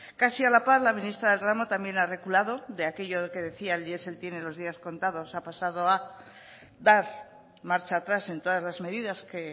casi a la par la ministra del ramo también ha reculado de aquello que decía del diesel tiene los días contados ha pasado a dar marcha atrás en todas las medidas que